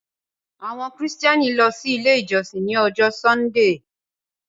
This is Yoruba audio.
Àwọn Kristiani lọ sí ilẹ̀ ijọsìn ní Ọ̀jọ̀ Sundee